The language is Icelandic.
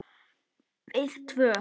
Við tvö.